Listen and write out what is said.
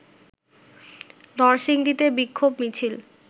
নরসিংদীতে বিক্ষোভ মিছিল